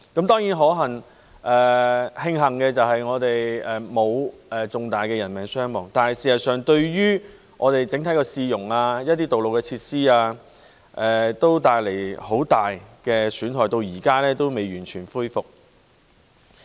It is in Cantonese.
當然，值得慶幸的是，我們沒有出現重大的人命傷亡，但事實上，整體市容及一些道路設施均受到很大損壞，至今仍未完全恢復。